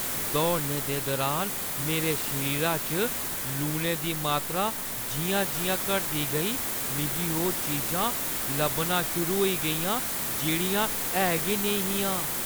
दौड़ने दे दुरान मेरे शरीरै च लूनै दी मात्तरा जिʼयां-जिʼयां घटदी गेई, मिगी ओह् चीजां लब्भना शुरू होई गेइयां जेह्ड़ियां है गै नेईं हियां।